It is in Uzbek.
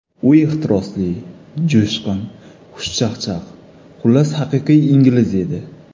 U ehtirosli, jo‘shqin, xushchaqchaq, xullas, haqiqiy ingliz edi.